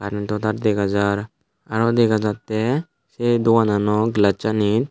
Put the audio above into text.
intotar degajar arow degajatey say doganano glassani.